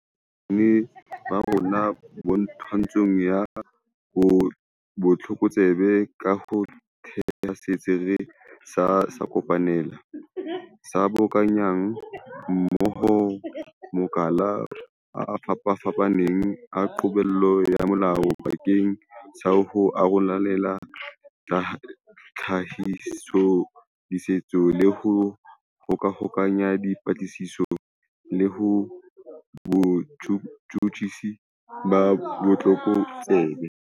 Re ntlafaditse bokgoni ba rona ba twantsho ya botlokotsebe ka ho theha Setsi sa Kopanelo, se boka nyang mmoho makala a fapafapaneng a qobello ya molao bakeng sa ho arolelana tlhahisoleseding le ho hokahanya dipatlisiso le botjhutjhisi ba botlokotsebe.